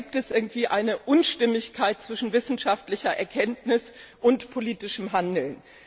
Da besteht irgendwie eine Unstimmigkeit zwischen wissenschaftlicher Erkenntnis und politischem Handeln.